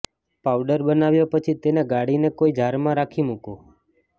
powder બનાવ્યા પછી તેને ગાળીને કોઈ જારમાં રાખી મુકો